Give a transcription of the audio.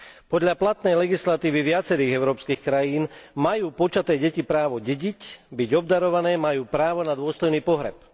Podľa platnej legislatívy viacerých európskych krajín majú počaté deti právo dediť, byť obdarované, majú právo na dôstojný pohreb.